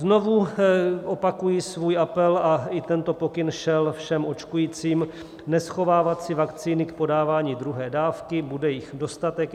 Znovu opakuji svůj apel a i tento pokyn šel všem očkujícím - neschovávat si vakcíny k podávání druhé dávky, bude jich dostatek.